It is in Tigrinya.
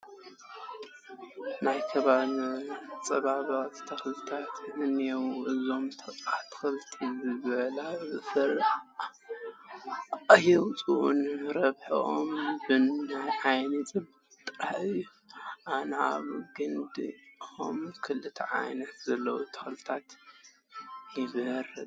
ናይ ከባቢ መፀባበቒ ተኽልታት እኔዉ፡፡ እዞም ኣትክልቲ ዝብላዕ ፍረ ኣየውፅኡን፡፡ ረብሕኦም ንዓይኒ ፅባቐ ጥራሕ እዮም፡፡ ኣነ ኣብ ግንድዚኦም ክልተ ዓላማ ዘለዎም ኣትክልቲ ይመርፅ፡፡